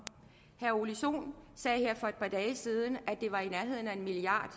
herre ole sohn sagde her for et par dage siden at det var i nærheden af en milliard